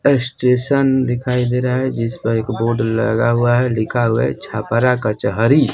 ये स्टेशन दिखाई दे रहा है जिस पर एक बोर्ड लगा हुआ है लिखा हुआ छपरा कचहरी।